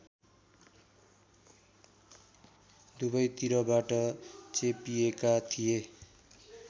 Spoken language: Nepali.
दुवैतिरबाट चेपिएका थिए